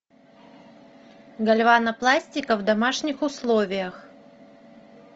гальванопластика в домашних условиях